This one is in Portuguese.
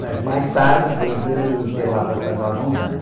Mas mais tarde, depois de ter lá passado alguns anos.